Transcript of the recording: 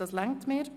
Das genügt mir.